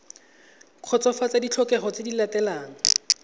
kgotsofatsa ditlhokego tse di latelang